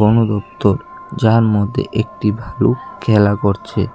বনদপ্তর যার মধ্যে একটি ভাল্লুক খেলা করছে।